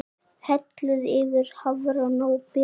Hellið yfir hafrana og berin.